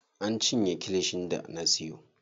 An cinye kilishin da na siyo.